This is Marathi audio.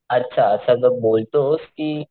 अच्छा असा जो बोलतोस कि,